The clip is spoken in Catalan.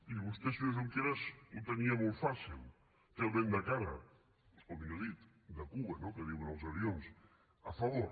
i vostè senyor junqueras ho tenia molt fàcil té el vent de cara o millor dit de cua no que diuen els avions a favor